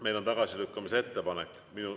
Meil on tagasilükkamise ettepanek.